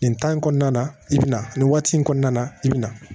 Nin in kɔnɔna na i bɛ na nin waati in kɔnɔna na i bɛ na